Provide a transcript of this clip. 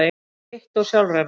heitt og sjálfrennandi.